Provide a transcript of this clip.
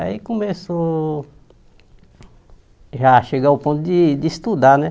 Aí começou já a chegar o ponto de de estudar, né?